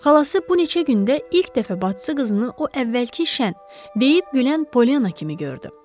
Xalası bu neçə gündə ilk dəfə bacısı qızını o əvvəlki deyib gülən Polyana kimi gördü.